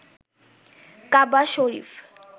কাবা শরীফ